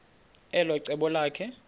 elo cebo lakhe